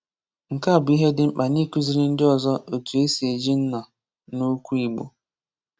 Nke a bụ ihe dị mkpa n’ịkụziri ndị ọzọ otu e si eji nna na okwu Igbo.